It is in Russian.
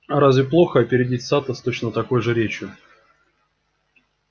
а разве плохо опередить сатта с точно такой же речью